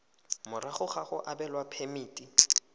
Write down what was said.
morago ga go abelwa phemiti